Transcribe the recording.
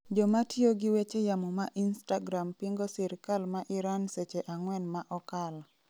joma tiyo gi weche yamo ma Instagram pingo sirkal ma Iran seche angwen ma okalo